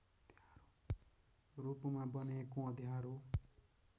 रूपमा बनेको अँध्यारो